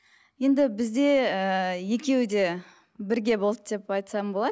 енді бізде ііі екеуі де бірге болды деп айтсам болады